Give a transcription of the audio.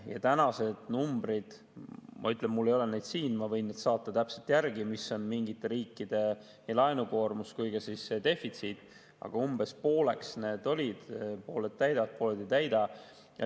Ja tänased numbrid – ma ütlen, et mul ei ole neid siin kaasas, aga ma võin need saata järgi, mis on täpselt mingite riikide nii laenukoormus kui ka defitsiit – on umbes pooleks: pooled täidavad, pooled ei täida.